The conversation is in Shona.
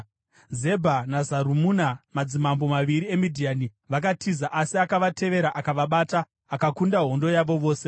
Zebha naZarumuna, madzimambo maviri eMidhiani, vakatiza, asi akavatevera akavabata, akakunda hondo yavo yose.